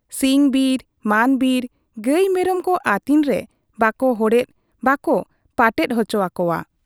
ᱥᱤᱧ ᱵᱤᱨ ᱢᱟᱱ ᱵᱤᱨ ᱜᱟᱹᱭ ᱢᱮᱨᱚᱢ ᱠᱚ ᱟᱹᱛᱤᱧ ᱨᱮ ᱵᱟᱠᱚ ᱦᱚᱲᱮᱫ ᱵᱟᱠᱚ ᱯᱟᱴᱮᱫ ᱚᱪᱚ ᱟᱠᱚᱣᱟ ᱾